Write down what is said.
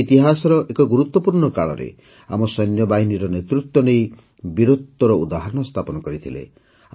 ସେ ଇତିହାସର ଏକ ଗୁରୁତ୍ୱପୂର୍ଣ୍ଣ କାଳରେ ଆମ ସୈନ୍ୟବାହିନୀର ନେତୃତ୍ୱ ନେଇ ବୀରତ୍ୱର ଉଦାହରଣ ସ୍ଥାପନ କରିଥିଲେ